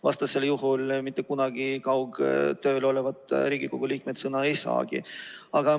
Vastasel juhul ei saagi kaugtööl olevad Riigikogu liikmed mitte kunagi sõna.